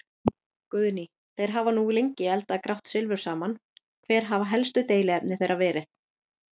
Guðný: Þeir hafa nú lengi eldað grátt silfur saman, hver hafa helstu deiluefni þeirra verið?